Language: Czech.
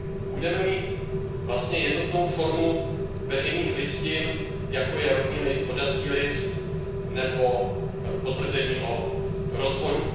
Budeme mít vlastně jednotnou formu veřejných listin, jako je rodný list, oddací list nebo potvrzení o rozvodu.